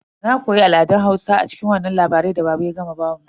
Na koya al'adan Hausa a cikin wannan labari da baba ya gama bamu.